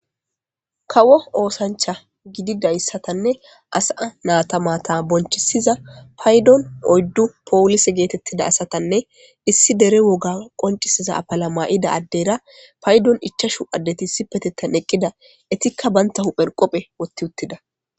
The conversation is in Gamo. kawo oosancha gidida issatanne asaa natamata bonchisiza paydon oyddu poolise geetettida asatanne issi dere woga qoncisiza apala ma7ida addeyra paydon ichashu addeti sipetettan eqqida etikka banta hupher qophe wotti uttida